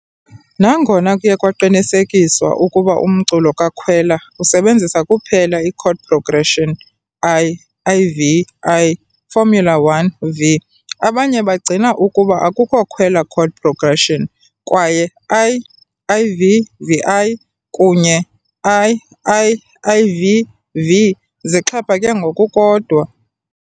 Nangona kuye kwaqinisekiswa ukuba umculo kaKhwela usebenzisa kuphela i- chord progression I-IV-I. formula_1 -V., abanye bagcina ukuba akukho Khwela chord progression, kwaye I-IV-VI kunye II-IV-V zixhaphake ngokukodwa.